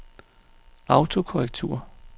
autokorrektur